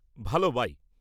ভাল, বাই।